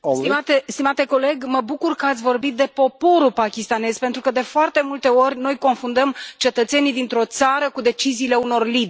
Stimate coleg, mă bucur că ați vorbit de poporul pakistanez, pentru că, de foarte multe ori, noi confundăm cetățenii dintr o țară cu deciziile unor lideri.